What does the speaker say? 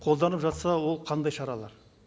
қолданып жатса ол қандай шаралар